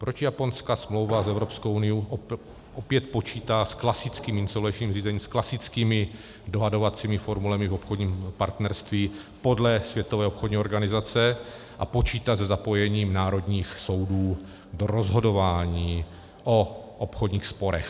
Proč japonská smlouva s Evropskou unií opět počítá s klasickým insolvenčním řízením, s klasickými dohadovacími formulemi v obchodním partnerství podle Světové obchodní organizace a počítá se zapojením národních soudů do rozhodování o obchodních sporech?